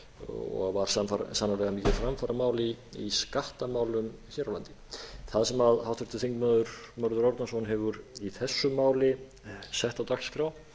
og var sannarlega mikið framfaramál í skattamálum hér á landi það sem háttvirtur þingmaður mörður árnason hefur í þessu máli sett á dagskrá